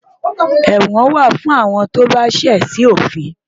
Ẹ̀wọ̀n wà fún àwọn tó bá ṣẹ̀ sí òfin